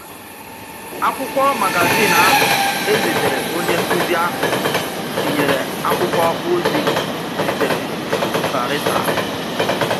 Àkwụ́kwọ̀ magazín ahụ̀ èzìtèrè ònyé nkụ́zì ahụ̀ tinyèrè àkwụ́kwọ̀ òzì sịtèrè Vareta